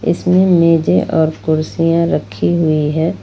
इसमें मेजे और कुर्सियां रखी हुई है।